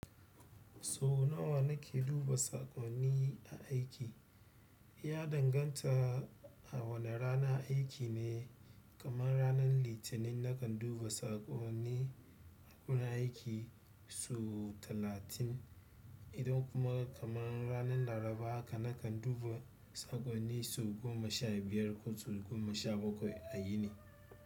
Sau nawa na ke duba saƙonni a aiki? Ya danganta a wane ranan aiki ne, kamar ranan Litinin na kan duba saƙonni wurin aiki sau talatin idan kuma kamar ranan Laraba haka na kan duba saƙonni sau goma sha biyar ko sau goma sha bakwai a yini.